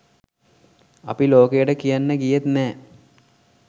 අපි ලෝකයාට කියන්න ගියෙත් නැහැ.